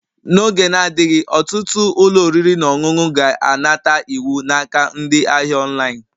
N'oge na-adịghị, ọtụtụ ụlọ oriri na ọṅụṅụ ga-anata iwu n'aka ndị ahịa online